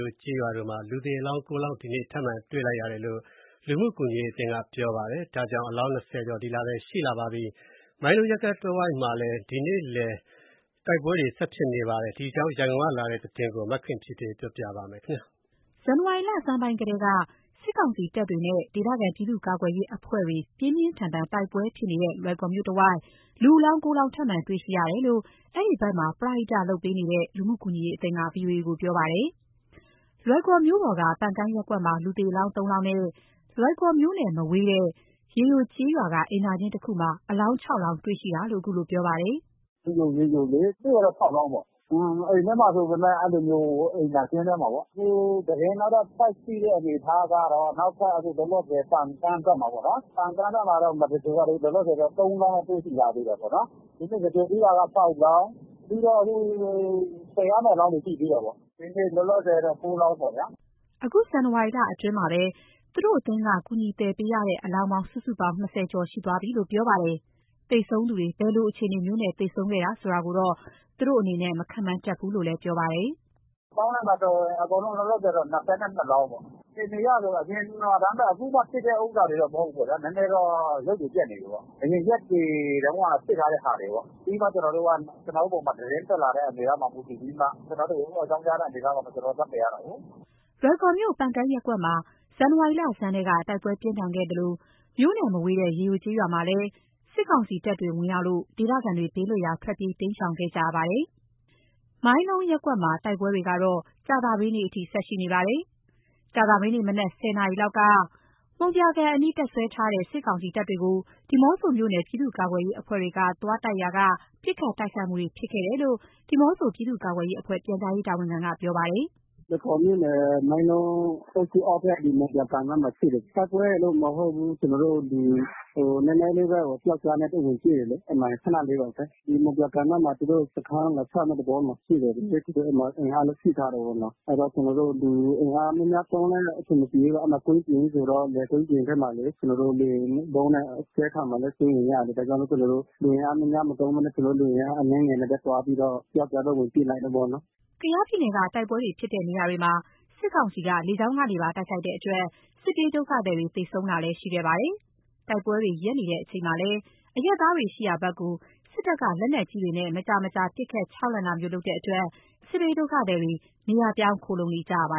ိုကျေးရွာတို့မှာ လူသေအလောင်း ၉ လောင်း ဒီနေ့ ထပ်မံတွေ့ရှိရတယ်လို့ လူမှုကူညီရေးအသင်းက ပြောပါတယ်။ ဒီလအတွင်းမှာ တွေ့ရှိတဲ့ အလောင်း ၂၀ ကျော်ရှိနေပါပြီ။ တိုက်ပွဲ ဆက်တိုက်ဖြစ်နေတဲ့ လွိုင်ကော်မြို့ မိုင်းလုံရပ်ကွက်တဝိုက်မှာ ဇန်နဝါရီ ၂၇ ရက် ကြာသပတေးနေ့ကလည်း တိုက်ပွဲတွေ ဆက်ဖြစ်နေပါတယ်။ ဒီအကြောင်း ရန်ကုန်ကလာတဲ့ သတင်းကို မခင်ဖြူထွေးက ပြောပြပါမယ်။ ဇန်နဝါရီလဆန်းပိုင်းကတည်းက စစ်ကောင်စီတပ်တွေနဲ့ ဒေသခံပြည်သူ့ကာကွယ်ရေးအဖဲ့ွတွေ ပြင်းပြင်းထန်ထန်တိုက်ပွဲဖြစ်နေတဲ့ လွိုင်ကော်မြို့တဝိုက် လူအလောင်း ၉ လောင်း ထပ်မံတွေ့ရှိရတယ်လို့ အဲဒီဘက်မှာ ပရဟိတလုပ်ပေးနေတဲ့ လူမှုကူညီရေးအသင်းက ဗွီအိုအေကို ပြောပါတယ်။ လွိုင်ကော်မြို့ပေါ်က ပန်ကန်းရပ်ကွက်မှာ လူသေအလောင်း ၃ လောင်းနဲ့ လွိုင်ကော်မြို့နဲ့ မဝေးတဲ့ ရေယိုကျေးရွာက အိမ်သာကျင်းတခုမှာ အလောင်း ၆ လောင်းတေ့ွရှိတယ်လို့ ခုလိုပြောပြပါတယ်။ “ရေယို၊ ရေယိုလေး တွေ့တာတော့ ၆လောင်းပေါ့။ အိမ်ထဲမှာဆိုပေမယ့် အဲ့လိုမျိုး (အလောင်းတွေ့ရှိတာ) အိမ်သာကျင်းထဲမှာပေါ့။ အခုသတင်းကတော့ ထပ်ရှိတဲ့အနေအထားကတော့ နောက်ထပ် အခုလောလောဆယ် ပန်ကန်းဘက်မှာပေါ့နော်။ ပန်ကန်းဘက်မှာ မသဂြိုလ်ရသေးဘူး။ လောလောဆယ်တော့ ၃ လောင်းတော့ တွေ့ရှိထားသေးတယ်ပေါ့နော်။ ဒီနေ့ သဂြိုလ်ပြီးတာက ၆လောင်း ပြီးတော့ အခု သယ်ရမယ့်အလောင်းတွေ ရှိသေးတာပေါ့နော်။ ဒီနေ့ လောလောဆယ်တော့ ၉ လောင်းပေါ့နော်ဗျာ။” အခု ဇန်နဝါရီလအတွင်းမှာပဲ သူတို့အသင်းက ကူညီသယ်ပေးရတဲ့အလောင်း စုစုပေါင်း ၂၀ ကျော်ရှိသွားပြီးလို့ ပြောပါတယ်။ သေဆုံးသူတွေ ဘယ်လိုအခြေအနေမျိုးနဲ့ သေဆုံးခဲ့တယ်ဆိုတာကိုတော့ သူတို့အနေနဲ့ မခန့်မှန်းတတ်ဘူးလို့လည်း ပြောပါတယ်။ “ ပေါင်းလိုက်မယ်ဆိုရင် အကုန်လုံး လောလောဆယ်တော့ ၂၂ လောင်းပေါ့။ အခြေအနေအရဆိုတာ အခုမှာ ဖြစ်တဲ့ ဥစ္စာတွေတော့ မဟုတ်ဘူးပေါ့ဗျ။ နည်းနည်းတော့ အရုပ်တွေ ပျက်နေပြီးပေ့ါ။ အရင် ရက်တွေတုန်းကဖြစ်ထားတဲ့ ဟာတွေပေါ့။ ပြီးမှ ကျနော်တို့က ကျနော်တို့ပေါ်မှာ သတင်းတက်လာတဲ့ အနေအထားမှာ မူတည်ပြီးမှ ကျနော်တို့ကို အကြောင်းကြားလာတဲ့ အနေအထားပေါ်မှာ ကျနော် သွားသယ်ရတာကိုး။” လွိုင်ကော်မြို့ ပန်ကန်းရပ်ကွက်မှာ ဇန်နဝါရီလဆန်းထဲက တိုက်ပွဲပြင်းထန်ဖြစ်ခဲ့သလို မြို့နဲ့ မဝေးတဲ့ ရေယိုကျေးရွာမှာလည်း စစ်ကောင်စီတပ်တွေ ဝင်ရောက်လို့ ဒေသခံတွေ ဘေးလွတ်ရာကို ထွက်ပြေးရှောင်တိမ်းခဲ့ကြရတာပါ။ မိုင်းလုံးရပ်ကွက်မှာ တိုက်ပွဲတွေကတော့ ကြာသပတေးနေ့အထိ ဆက်ရှိနေပါတယ်။ ကြာသပတေးနေ့ မနက် ၁၀ နာရီလောက်က မှုံပြာကန်အနီး တပ်စွဲထားတဲ့ စစ်ကောင်စီတပ်တွေကို ဒီးမော့ဆိုမြို့နယ် ပြည်သူ့ကာကွယ်ရေးအဖွဲ့တွေက သွားတိုက်ရာက ပစ်ခတ်တိုက်ခိုက်မှုတွေဖြစ်ခဲ့တယ်လို့ ဒီးမော့ဆို ပြည်သူ့ကာကွယ်ရေးအဖွဲ့ ပြန်ကြားရေးတာဝန်ခံက ပြောပါတယ်။ “လွိုင်ကော်မြို့နယ် မိုင်းလုံးအုပ်စု အောက်ဖက် ဒီမှုံပြာကန်နားမှာ ဖြစ်တယ်။ တိုက်ပွဲရယ်လို့ မဟုတ်ဘူး ကျနော်တို့ နည်းနည်းလေးပဲ ပျောက်ကျားနဲ့ ဝင်ပစ်တယ်လေး။ အဲ့မှာ ခဏလေးပါပဲ။ ဒီမှုံပြာကန်နားမှာ သူတို့စခန်းလာချမယ့် သဘောမှာရှိနေတယ် အဲ့မှာ အင်အားလည်း ဖြည့်ထားတယ်ပေါ့နော်။ အဲ့တော့ ကျနော်တို့ လူအင်အားများများသုံးလည်း အဆင်မပြေဘူး။ အဲ့မှာကွင်းပြင်ကြီးဆိုတော့ လယ်ကွင်းပြင်ဘက်မှာလေး ကျနော်တို့ လေယာဉ် ဗုံးနဲ့ အကြဲခံရမှာလည်း စိုးရိမ်ရတယ်။ ဒါကြောင့်မို့လို့ ကျနော်တို့ လူအင်အားမသုံးပဲနဲ့ ကျနော်တို့လူအင်အား အနည်းငယ်နဲ့ပဲ သွားပြီးတော့ ပျောက်ကျားနဲ့ ဝင်ပစ်လိုက်တယ်ပေါ့နော်။” ကယားပြည်နယ်က တိုက်ပွဲတွေဖြစ်တဲ့နေရာတွေမှာ စစ်ကောင်စီက လေကြောင်းကနေပါ တိုက်ခိုက်တဲ့အတွက် စစ်ပြေးဒုက္ခသည်တွေ သေဆုံးတာလည်း ရှိခဲ့ပါတယ်။ တိုက်ပွဲတွေ ရပ်နေချိန်မှာလည်း အရပ်သားတွေ ရှိရာဘက်ကို စစ်တပ်က လက်နက်ကြီးတွေနဲ့ မကြာ မကြာပစ်ခတ် ခြောက်လှန့်တာမျိုးလုပ်တဲ့အတွက် စစ်ဘေးဒုက္ခသည်တွေ နေရာပြောင်း ခိုလှုံနေကြရပါ